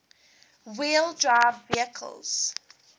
wheel drive vehicles